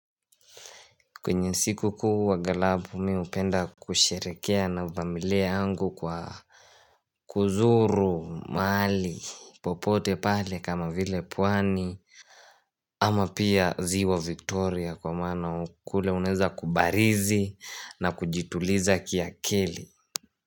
Kwenye siku kuu wa aghalabu mi hupenda kusherekea na familia yangu kwa kuzuru mahali popote pale kama vile pwani ama pia ziwa Victoria kwa mana kule unaweza kubarizi na kujituliza kiakili.